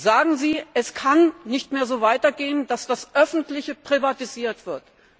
Sagen Sie Es kann nicht mehr so weitergehen, dass das Öffentliche privatisiert wird.